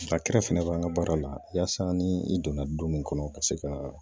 fɛnɛ b'an ka baara la yasa ni i donna du mun kɔnɔ ka se ka